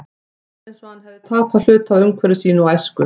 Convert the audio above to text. Það var eins og hann hefði tapað hluta af umhverfi sínu og æsku.